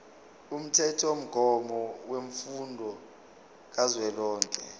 umthethomgomo wemfundo kazwelonke